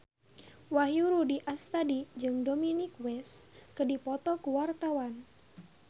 Wahyu Rudi Astadi jeung Dominic West keur dipoto ku wartawan